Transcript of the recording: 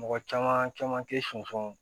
Mɔgɔ caman caman te sɔn